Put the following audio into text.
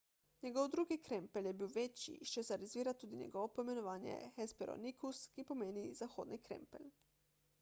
njegov drugi krempelj je bil večji iz česar izvira tudi njegovo poimenovanje hesperonychus ki pomeni zahodni krempelj